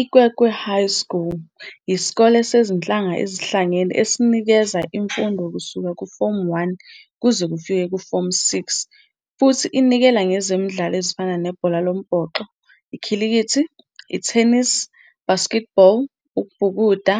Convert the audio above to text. IKwekwe High yisikole sezinhlanga ezihlangene esinikeza imfundo kusuka kuFomu 1 kuze kufike kuFomu 6 futhi inikela ngezemidlalo ezifana nebhola lombhoxo, ikhilikithi, ithenisi, basketball, ukubhukuda,